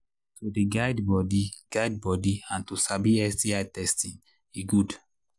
to they guide body guide body and to sabi sbi testing e good